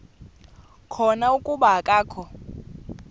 khona kuba akakho